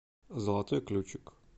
золотой ключик